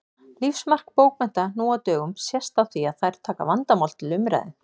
Lífsmark bókmennta nú á dögum sést á því að þær taka vandamál til umræðu.